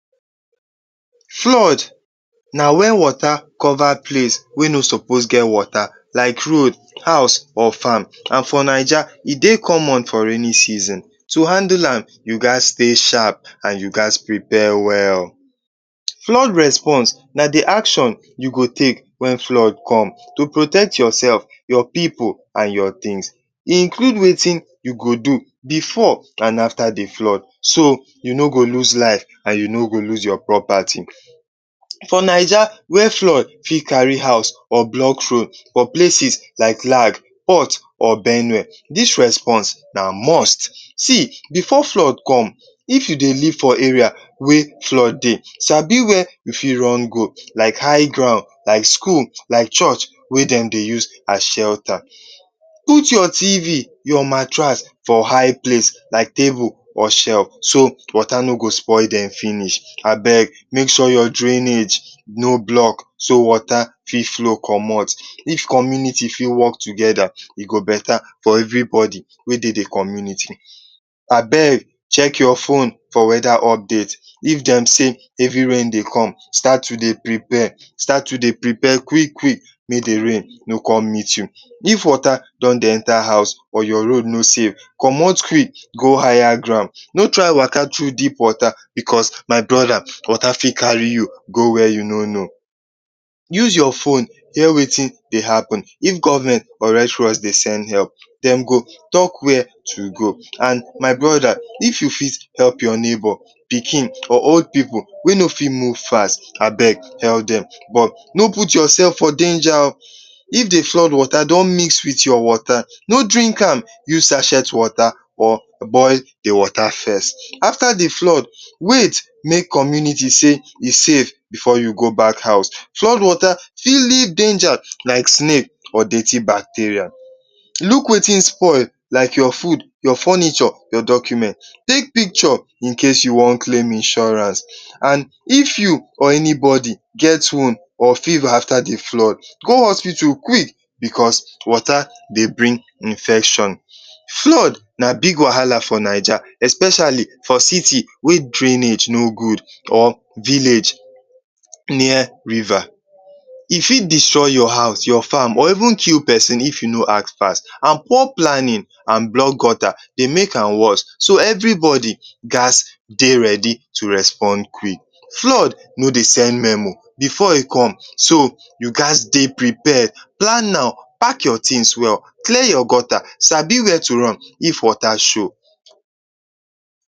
Flood na wen wota cova place wey no sopos to get wota like road, house or fam and for naija e dey common for rainin season. To handle am you ghas stay sharp, and you ghas stay well. Flood response na the action you go take wen flood come, to protect yourself, your pipu and your tins. Include wetin you go do before and after the flood. So you no go loose life and you no go loose your propati. For Naija where flood fit kari house or blok road, for places like Lag, Port or Benue ,dis response na most. See, before flood come, if you dey live for area before flood come, sabi where you fit run go like high ground, like skul, like church wey dem dey use as shelter. Put your TV, your matrass for high place, like table or shef so wota no go spoil dem finish. Abeg make sure your drainage no blok so wota fit flow comot if community work togeda, e go beta for every bosi wey dey the community. Abeg check your phone for weda update if dem sey hevi rain dey come start to dey prepare, start to dey prepare quick-quick mey the rain no come. If wota don de enta your house and your road no safe, comot quick go hire ground, no try waka tru deep wota because my broda, wota fit kari you go where you no no. use your fone dey hear wetin dey hppen if government or restores dey send help. Dem go talk where to go and, my broda if you fit help your bebor pikin, old pipu wey dey no fit run fast, abeg help dem no put your seif for denja o. if dey flood wota don’t mix your wota, no drink am, use sachet wota or boil the wota first. After the flood, wait mey community sey e safe before you go back house. Flood wota fit lead denja like snake or dirty bacteria, luk wetin spoil like your fud, your furniture, your document. Take picture, in case you wan claim insurance. If you or anybodi get wound or fever, afta the flood, go hospital quick because flood dey bring infection. Flood na big wahala for Naija especiali for city wey drainage no gud or village near riva. E fit destroy your fam, your house, or kill pesin if you no act fast. So old plannin and blok gota dey make am worse.so every bodi ghas dey to response quick. Flood no dey send memo before e come, toh, you ghas dey prepare, plan am pack your tin well, clear your gota, sabi where to run, if wota show.